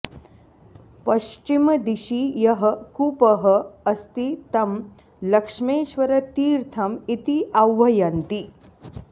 पश्चिमदिशि यः कूपः अस्ति तं लक्ष्मेश्वरतीर्थम् इति आह्वयन्ति